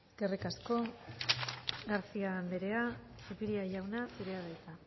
eskerrik asko garcía andrea zupiria jauna zurea da hitza